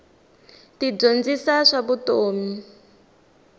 ti dyondzisa swa vutomi